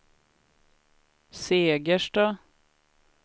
Segersta